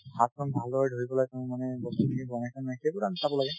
হাতখন ভালদৰে ধুই পেলাই তেওঁ মানে বস্তুখিনি বনাইছে নে নাই সেইটোতো আমি চাব লাগে